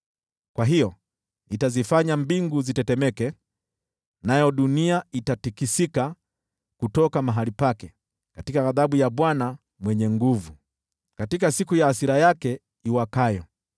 Kwa hiyo nitazifanya mbingu zitetemeke, nayo dunia itatikisika kutoka mahali pake katika ghadhabu ya Bwana Mwenye Nguvu Zote, katika siku ya hasira yake iwakayo.